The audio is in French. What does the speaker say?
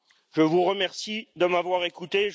Je vous remercie de m'avoir écouté